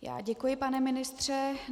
Děkuji, pane ministře.